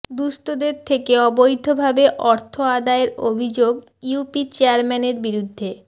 দুস্থদের থেকে অবৈধভাবে অর্থ আদায়ের অভিযোগ ইউপি চেয়ারম্যানের বিরুদ্ধে